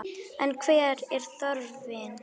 En hver er þörfin?